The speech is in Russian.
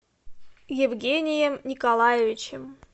евгением николаевичем